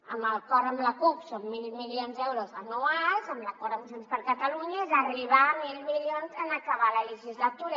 amb l’acord amb la cup són mil milions d’euros anuals amb l’acord amb junts per catalunya és arribar a mil milions en acabar la legislatura